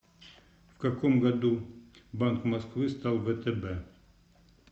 в каком году банк москвы стал втб